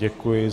Děkuji.